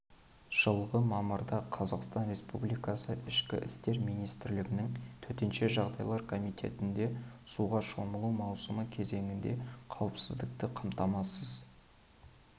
жылғы мамырда қазақстан республикасы ішкі істер министрлігінің төтенше жағдайлар комитетінде суға шомылу маусымы кезеңінде қауіпсіздікті қамтамасыз